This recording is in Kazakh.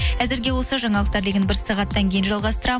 әзірге осы жаңалықтар бір сағаттан кейін жалғастырамыз